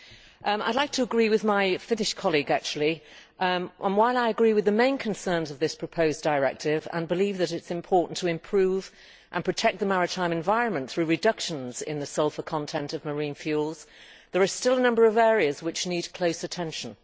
I would like to agree with my Finnish colleague and, while I agree with the main concerns of this proposed directive and believe that it is important to improve and protect the maritime environment through reductions in the sulphur content of marine fuels, there are still a number of areas that need close attention.